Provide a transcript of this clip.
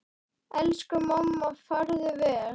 Elsku mamma, farðu vel.